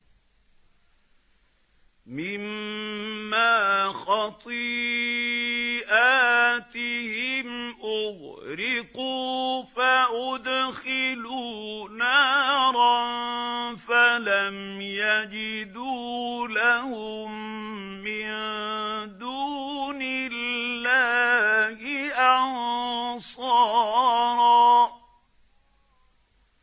مِّمَّا خَطِيئَاتِهِمْ أُغْرِقُوا فَأُدْخِلُوا نَارًا فَلَمْ يَجِدُوا لَهُم مِّن دُونِ اللَّهِ أَنصَارًا